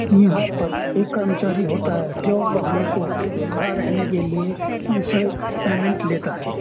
यहां पर एक कर्मचारी होता है जो वाहनों को खड़ा रहने के लिए उनसे पेमेंट लेता है।